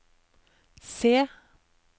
C